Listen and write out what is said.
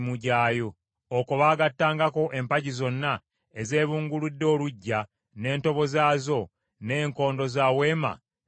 Okwo baagattangako empagi zonna ezeebunguludde oluggya n’entobo zaazo, n’enkondo za Weema n’emiguwa.